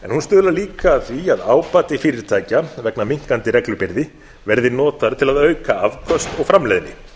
en hún stuðlar líka að því að ábati fyrirtækja vegna minnkandi reglubyrði verði notaður til að auka afköst og framleiðni